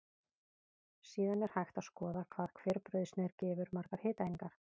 Síðan er hægt að skoða hvað hver brauðsneið gefur margar hitaeiningar.